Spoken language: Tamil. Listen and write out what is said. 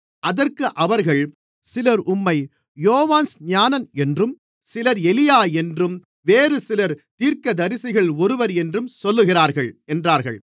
அதற்கு அவர்கள் சிலர் உம்மை யோவான்ஸ்நானன் என்றும் சிலர் எலியா என்றும் வேறுசிலர் தீர்க்கதரிசிகளில் ஒருவர் என்றும் சொல்லுகிறார்கள் என்றார்கள்